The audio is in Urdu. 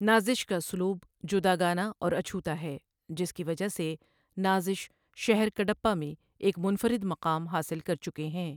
نازش کا اسلوب جداگانہ اور اچھوتا ہے جس کی وجہہ سے نازشؔ شہر کڈپہ میں ایک منفرد مقام حاصل کرچکے ہیں۔